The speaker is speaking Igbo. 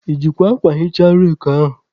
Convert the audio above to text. I jikwa akwa hichaa reki anyị?